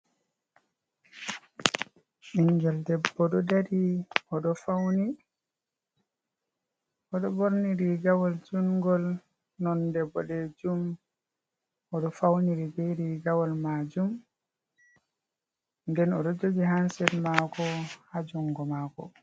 Ɓingel debbo dari oɗo ɓorni rigawal jungol nonde ɓoɗejum, oɗo fauniri be rigawal majum nden oɗo jogi hansed mako ha jungo mako.